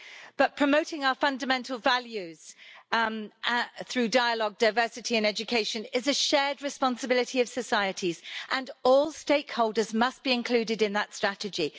But promoting our fundamental values through dialogue, diversity and education is a shared responsibility of societies, and all stakeholders must be included in that strategy.